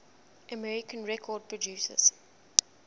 american record producers